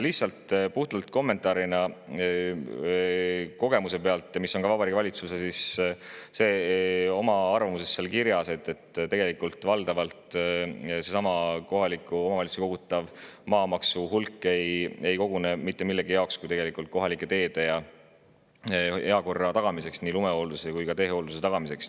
Lihtsalt kommentaarina oma kogemuse pealt, ja see on ka Vabariigi Valitsuse arvamuses kirjas, et tegelikult kohaliku omavalitsuse kogutavat maamaksu ei mitte millegi muu jaoks kui valdavalt kohalike teede ja heakorra tagamiseks, nii lume kui ka teehoolduse tagamiseks.